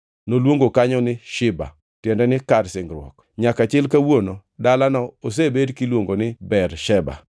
Noluongo kanyo ni Shiba (tiende ni kar singruok) nyaka chil kawuono dalano osebed kiluongo ni Bersheba.